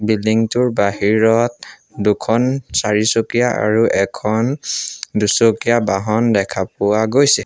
Building টোৰ বাহিৰত দুখন চাৰিচকীয়া আৰু এখন দুচকীয়া বাহন দেখা পোৱা গৈছে।